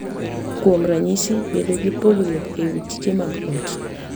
Kuom ranyisi, bedo gi pogruok e wi tije mag ot .